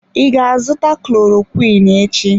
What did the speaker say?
I ga azụta klorokwiin echi?